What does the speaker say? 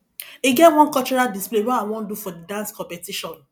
e get one cultural display wey i wan do for the dance competition